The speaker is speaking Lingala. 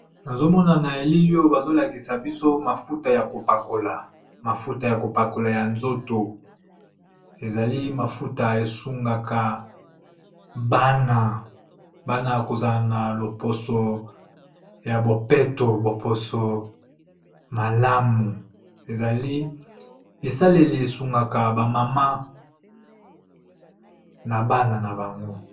Nazomona na elili oyo bazolakiza biso mafuta yakopakola ya nzoto ezali mafuta Yako esunga Bana bazala loposo ya bopeto esaleli esungaka ba maman na Bana nabango.